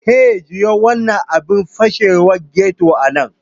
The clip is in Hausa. Hey, juya wannan abin fashewar ghetto a nan!